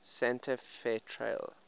santa fe trail